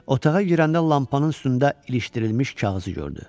Otağa girəndə lampanın üstündə ilişdirilmiş kağızı gördü.